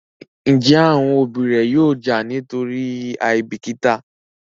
Njé àwọn òbí ré yóò já nítorí àìbìkítà?